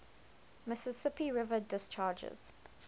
mississippi river discharges